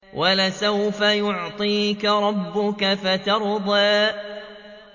وَلَسَوْفَ يُعْطِيكَ رَبُّكَ فَتَرْضَىٰ